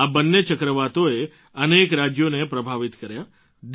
આ બંને ચક્રાવાતોએ અનેક રાજ્યોને પ્રભાવિત કર્યાં છે